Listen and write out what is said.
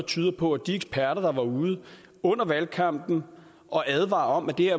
tyder på at de eksperter der var ude under valgkampen og advare om at det